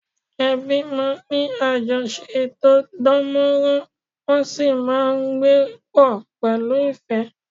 Ẹbí máa ń ní àjọṣe tó dán mọ́rán, wọ́n sì máa ń gbé pọ̀ pẹ̀lú ìfẹ́